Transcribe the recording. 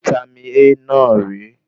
Vítámì A náà re